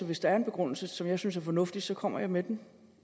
hvis der er en begrundelse som jeg synes er fornuftig så kommer jeg med den